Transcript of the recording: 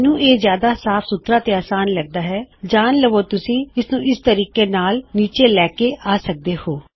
ਮੈਂਨੂੰ ਇਹ ਜਿਆਦਾ ਸਾਫ ਜਿਆਦਾ ਸਿਮਪਲ ਅਤੇ ਸਿਰਫ ਤੁਹਾਨੂੰ ਦੱਸਣ ਲਈ ਤੁਸੀਂ ਇਸਨੂੰ ਇਸ ਤਰੀਕੇ ਨਾਲ ਨੀਚੇ ਲੈ ਕੇ ਆ ਸਕਦੇ ਹੋਂ